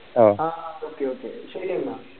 ആഹ് okay okay ശെരി എന്ന